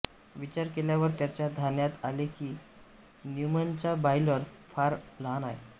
विचार केल्यावर त्याच्या ध्यानात आले की न्यूमनचा बॉयलर फार लहान आहे